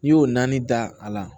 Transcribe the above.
N'i y'o naani da a la